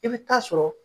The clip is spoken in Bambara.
I bɛ taa sɔrɔ